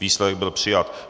Výsledek byl přijat.